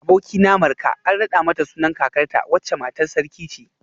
Abokina Marka an rada mata sunan kakarta wacce matar sarki ce